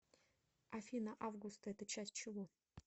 афина августа это часть чего